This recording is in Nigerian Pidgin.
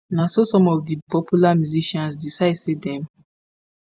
na so some of di popular musicians decide say dem